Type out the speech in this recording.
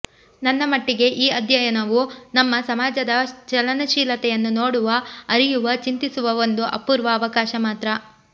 ನನ್ನ ಮಟ್ಟಿಗೆ ಈ ಅಧ್ಯಯನವು ನಮ್ಮ ಸಮಾಜದ ಚಲನಶೀಲತೆಯನ್ನು ನೋಡುವ ಅರಿಯುವ ಚಿಂತಿಸುವ ಒಂದು ಅಪೂರ್ವ ಅವಕಾಶ ಮಾತ್ರ